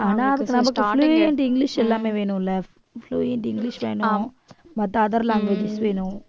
ஆனா அதுக்கு நமக்கு fluent English எல்லாமே வேணும்ல fluent Eenglish வேணும் மத்த other languages வேணும்